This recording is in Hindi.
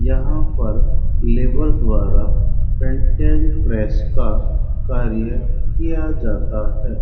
यहां पर लेबर द्वारा पेंटेन प्रेस का कार्य किया जाता है।